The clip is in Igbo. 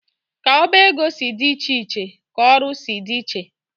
Ka oba ego si dị iche iche ka ọrụ si dị iche.